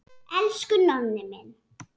Elsku Nonni minn.